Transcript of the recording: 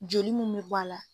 Joli minw be bɔ a la